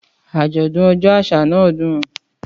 Àjọ̀dún ọjọ́ àṣà náà dùn.